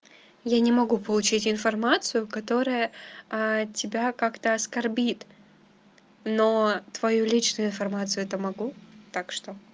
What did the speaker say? я не могу получить информацию которая тебя как-то оскорбит но твою личную информацию то могу так что